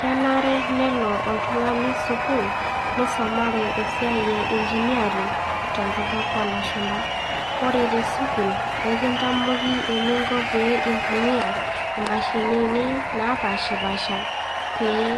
Kenare nelo oltungani sukuul neisomare esiai e engineering, tenkutuk oolashumpa. Ore tesukuul naa ekitamoki eninko tenintumia imashinini naapashi pasha pee